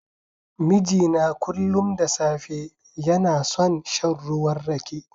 Mijina kullun da safe, yana son shan ruwan Rake.